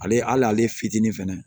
Ale hali ale fitinin fɛnɛ